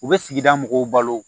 U bɛ sigida mɔgɔw balo